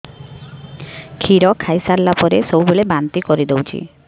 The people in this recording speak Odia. କ୍ଷୀର ଖାଇସାରିଲା ପରେ ସବୁବେଳେ ବାନ୍ତି କରିଦେଉଛି